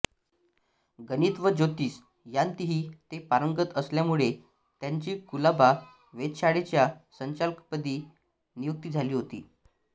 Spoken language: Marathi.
गणित व ज्योतिष यांतही ते पारंगत असल्यामुळे त्यांची कुलाबा वेधशाळेच्या संचालकपदी नियुक्ती झाली होती